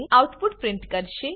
output print કરશે